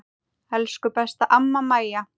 Elsku besta amma Maja.